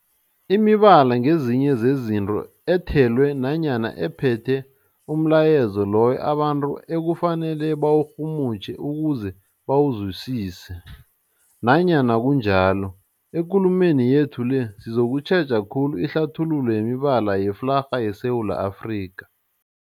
Imibala ngezinye zezinto ethelwe nanyana ephethe umlayezo loyo abantu ekufanele bawurhumutjhe ukuze bawuzwisise. Nanyana kunjalo, ekulumeni yethu le sizokutjheja khulu ihlathululo yemibala yeflarha yeSewula Afrika.